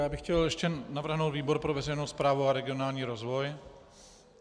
Já bych chtěl ještě navrhnout výbor pro veřejnou správu a regionální rozvoj.